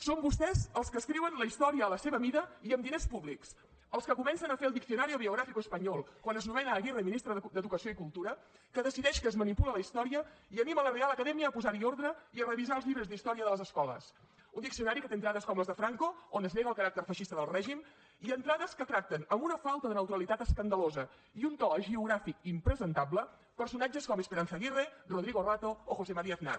són vostès els que escriuen la història a la seva mida i amb diners públics els que comencen a fer el diccionario biográfico español quan es nomena aguirre ministra d’educació i cultura que decideix que es manipula la història i anima la real academia a posar hi ordre i a revisar els llibres d’història de les escoles un diccionari que té entrades com les de franco on es nega el caràcter feixista del règim i entrades que tracten amb una falta de neutralitat escandalosa i un to hagiogràfic impresentable personatges com esperanza aguirre rodrigo rato o josé maría aznar